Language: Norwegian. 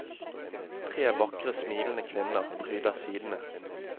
Tre vakre, smilende kvinner pryder sidene.